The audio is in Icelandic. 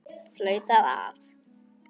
Flautað af.